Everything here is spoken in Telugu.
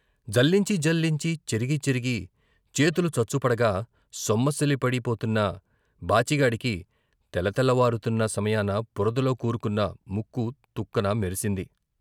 జల్లించి, జల్లించి, చెరిగి చెరిగి చేతులు చచ్చుపడగా సొమ్మసిల్లి పడిపోతున్న బాచిగాడికి తెలతెలవారుతున్న సమయాన బురదలో కూరుకున్న ముక్కు తుక్కున మెరిసింది.